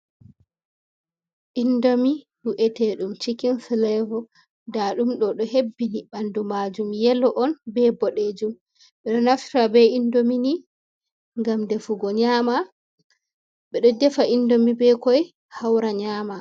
Indomi we’etedum shikin filevo da ɗum do ɗo hebbini ɓandu majum yelo on bodejum bedo naftira be indomi ni ngam ɗefugo nyama ɓe ɗo ɗefa indomi be koi haura nyama.